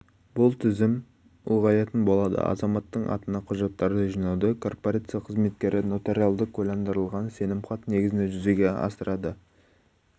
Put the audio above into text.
бұл тізім ұлғаятын болады азаматтың атына құжаттарды жинауды корпорация қызметкері нотариалды куәландырылған сенімхат негізінде жүзеге